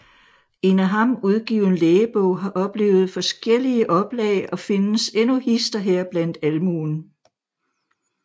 En af ham udgiven Lægebog har oplevet forskjellige Oplag og findes endnu hist og her blandt Almuen